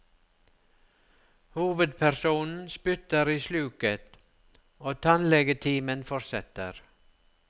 Hovedpersonen spytter i sluket, og tannlegetimen fortsetter.